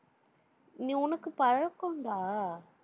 நீ, உனக்கு பழக்கம்டா.